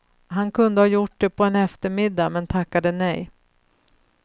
Han kunde ha gjort det på en eftermiddag, men tackade nej.